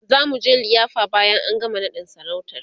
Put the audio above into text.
zamuje liyafa bayan an gama naɗin sarautar